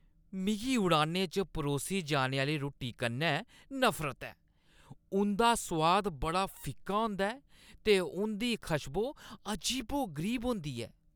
मिगी उड़ानें च परोसी जाने आह्‌ली रुट्टी कन्नै नफरत ऐ। उंʼदा सोआद बड़ा फिक्का होंदा ऐ ते उंʼदी खश्बो अजीबो-गरीब होंदी ऐ।